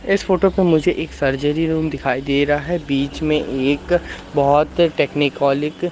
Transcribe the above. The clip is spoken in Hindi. इस फोटो पे मुझे एक सर्जरी रूम दिखाई दे रहा है बीच में एक बहुत टेकनीकोलिक --